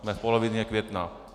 Jsme v polovině května.